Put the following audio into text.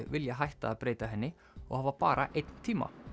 vilja hætta að breyta henni og hafa bara einn tíma